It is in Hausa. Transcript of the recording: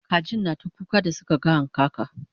kajin na ta kuka da Suka ga hankaka